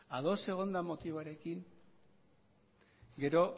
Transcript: ados egonda motiboarekin gero